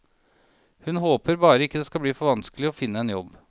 Hun håper bare ikke det skal bli for vanskelig å finne en jobb.